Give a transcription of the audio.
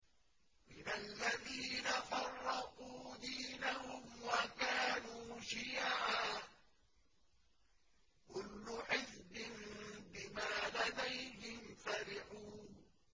مِنَ الَّذِينَ فَرَّقُوا دِينَهُمْ وَكَانُوا شِيَعًا ۖ كُلُّ حِزْبٍ بِمَا لَدَيْهِمْ فَرِحُونَ